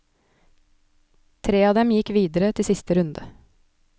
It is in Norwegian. Tre av dem gikk videre til siste runde.